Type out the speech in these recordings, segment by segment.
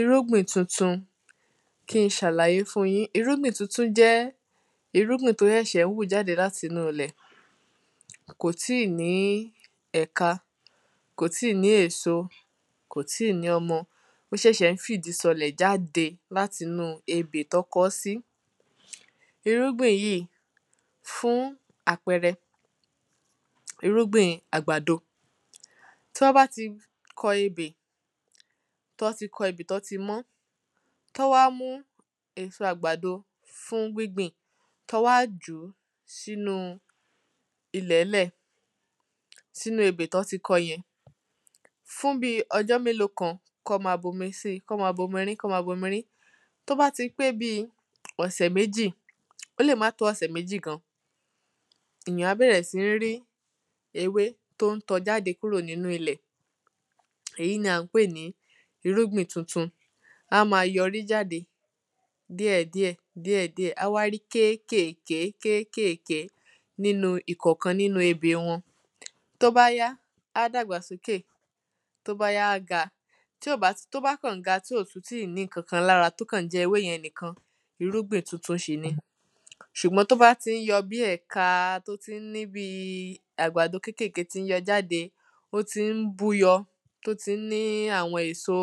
Irúgbìn tuntun. Kí ń ṣàlàyé fún yín irúgbìn tuntun jẹ́ irúgbìn tó ṣẹ̀ṣẹ̀ ń wù jáde láti inú ilẹ̀ kò tí ní ẹ̀ka kò tí ní èso kò tí ní ọmọ ó ṣẹ̀ṣẹ̀ ń fìdí sọlẹ̀ jáde láti inú ebè tán kọ́ sí. Irúgbìn yíì fún àpẹrẹ irúgbìn àgbàdo tí wọ́n bá ti kọ ebè tán ti kọ ebè tán ti mọ́ tán wá mú èso àgbàdo fún gbíngbìn tán wá jùú sínú ilẹ̀ lẹ́ẹ̀ sínú ebè tán ti kọ yẹn. Fún bí ọjọ́ mélòó kan kán má bomi sí kán má bomi rín tó bá ti pé bí ọ̀sẹ̀ méjì ó lè má tó ọ̀sẹ̀ méjì gan èyàn á bẹ̀rẹ̀ sí ní rí ewé tó ń tọ́ jáde kúrò nínú ilẹ̀ èyí ni à ń pè ní irúgbìn tuntun á má yọrí jáde díẹ̀ díẹ̀ díẹ̀ díẹ̀ á wá rí kékèké nínú ìkọ̀kan nínú ebè wọn. Tó bá yá á dàgbà sókè Tó bá yá á ga tí ó bá tó bá kàn ga tí ò tún ti tí ò ní nǹkan kan lára tó kàn ń jẹ ewé yẹn nìkan irúgbìn tuntun ṣì ni ṣùgbọ́n tó bá tí ń yọ bí ẹ̀ka tó ti àgbàdo kékéèké tí ń yọ jáde ó tí ń búyọ ó tí ń ní àwọn èso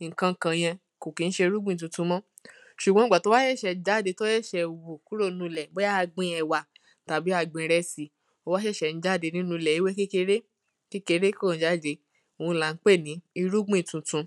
nǹkan kàn yẹn kò kí ń ṣe irúgbìn tuntun mọ́. Ṣùgbọ́n ìgbà tó bá ṣẹ̀ṣẹ̀ jáde tó ṣẹ̀ṣẹ̀ wù kúrò nínú ilẹ̀ bóyá a gbin ẹ̀wà tàbí ìrẹsì ó wá ṣẹ̀ṣẹ̀ ń jáde kúrò nínú ilẹ̀ ewé kékeré kékeré kàn jáde òun là ń pè ní irúgbìn tuntun.